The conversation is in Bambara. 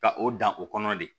Ka o dan o kɔnɔ de